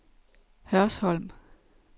Hørsholm